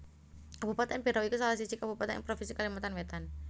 Kabupatèn Berau iku salah siji kabupatèn ing provinsi Kalimantan Wétan